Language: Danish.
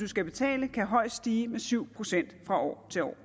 skal betale højst stige med syv procent fra år til år